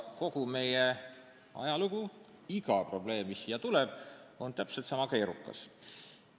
Kogu meie ajalugu ja iga probleem, mis siia meie ette tuleb, on täpselt sama keerukas.